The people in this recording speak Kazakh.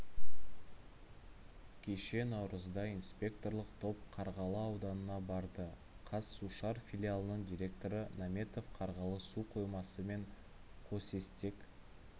кеше наурызда инспекторлық топ қарғалы ауданына барды қазсушар филиалының директоры наметов қарғалы су қоймасы мен қосестек